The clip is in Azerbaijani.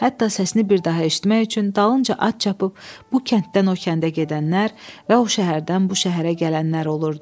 Hətta səsini bir daha eşitmək üçün dalınca at çapıb bu kənddən o kəndə gedənlər və o şəhərdən bu şəhərə gələnlər olurdu.